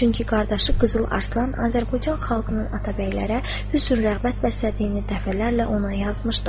Çünki qardaşı Qızıl Arslan Azərbaycan xalqının atabəylərə hüsni-rəğbət bəslədiyini dəfələrlə ona yazmışdı.